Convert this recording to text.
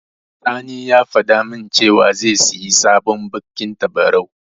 Sani ya faɗa min cewa zai siyi sabon baƙin tabarau.